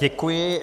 Děkuji.